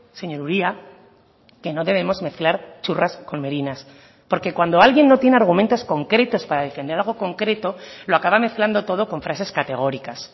señor uria que no debemos mezclar churras con merinas porque cuando alguien no tiene argumentos concretos para defender algo concreto lo acaba mezclando todo con frases categóricas